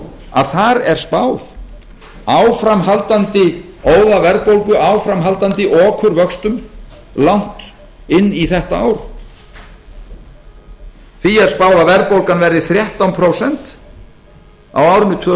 að þar er spáð áframhaldandi óðaverðbólgu áframhaldandi okurvöxtum langt inn í þetta ár því er spáð að verðbólgan verði þrettán prósent á árinu tvö